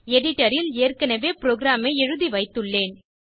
editor ல் ஏற்கனவே program ஐ எழுதி வைத்துள்ளேன்